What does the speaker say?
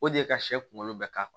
O de ye ka sɛ kunkolo bɛɛ ka